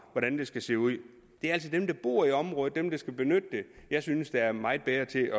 hvordan det skal se ud det er altså dem der bor i området dem der skal benytte det jeg synes er meget bedre til